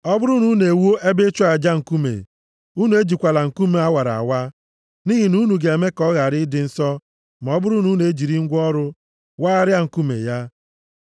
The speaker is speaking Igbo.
Ọ bụrụ na unu ewuo ebe ịchụ aja nkume, unu ejikwala nkume a wara awa, nʼihi na unu ga-eme ka ọ ghara ịdị nsọ ma ọ bụrụ na unu ejiri ngwa ọrụ wagharịa nkume ya.